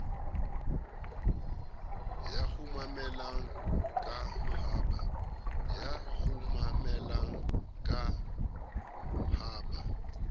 ya kgumamela ka ha ba